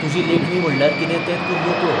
तुजी लेखणी म्हणल्यार कितें तें तूं नकळो.